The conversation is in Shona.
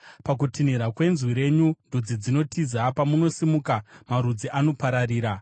Pakutinhira kwenzwi renyu, ndudzi dzinotiza; pamunosimuka, marudzi anopararira.